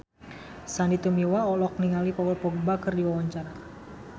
Sandy Tumiwa olohok ningali Paul Dogba keur diwawancara